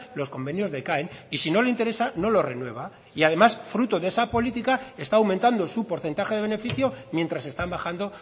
los convenios decaen y si no le interesa no lo renueva y además fruto de esa política está aumentando su porcentaje de beneficio mientras están bajando